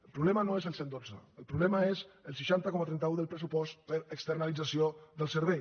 el problema no és el cent i dotze el problema és el seixanta coma trenta un del pressupost per externalització del servei